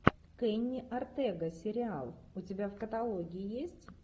кенни ортега сериал у тебя в каталоге есть